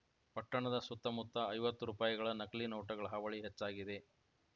ಪಟ್ಟಣದ ಸುತ್ತ ಮುತ್ತ ಐವತ್ತು ರುಪಾಯಿಗಳ ನಕಲಿ ನೋಟುಗಳ ಹಾವಳಿ ಹೆಚ್ಚಾಗಿದೆ